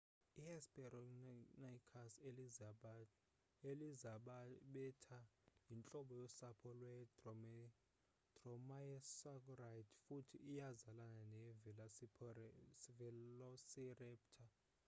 i-hesperonychus elizabethae yintlobo yosapho lwe-dromaeosauride futhi iyazalana ne-velociraptor